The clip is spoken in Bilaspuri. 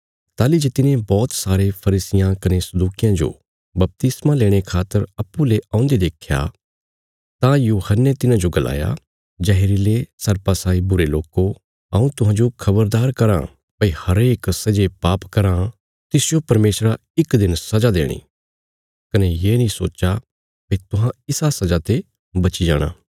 ताहली जे तिने बौहत सारे फरीसियां कने सदूकियां जो बपतिस्मा लेणे खातर अप्पूँ ले औंदे देख्या तां यूहन्ने तिन्हाजो गलाया जहरीले सर्पा साई बुरे लोको हऊँ तुहांजो खबरदार कराँ भई हरेक सै जे पाप कराँ तिसजो परमेशरा इक दिन सजा देणी कने ये नीं सोच्चा भई तुहां इसा सजा ते बची जाणा